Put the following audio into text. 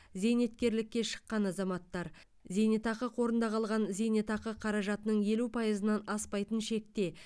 зейнеткерлікке шыққан азаматтар зейнетақы қорында қалған зейнетақы қаражатының елу пайызынан аспайтын шекте